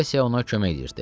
Vayisə ona kömək edirdi.